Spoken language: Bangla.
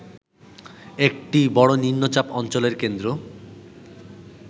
একটি বড় নিম্নচাপ অঞ্চলের কেন্দ্র